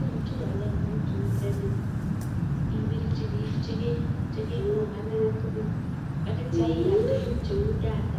Imuchi iyalee (credit) ibirchi bik ital (data)